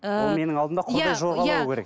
ыыы ол менің алдымда құрдай жорғалау керек деген